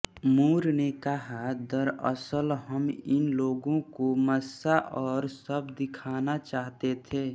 मूर ने कहा दरअसल हम इन लोगों को मस्सा और सब दिखाना चाहते थे